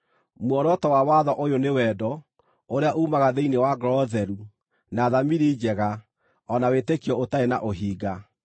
Muoroto wa watho ũyũ nĩ wendo, ũrĩa uumaga thĩinĩ wa ngoro theru, na thamiri njega, o na wĩtĩkio ũtarĩ na ũhinga.